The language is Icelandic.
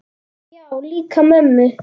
Já, líka mömmu